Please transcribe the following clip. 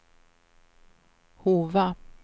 Hova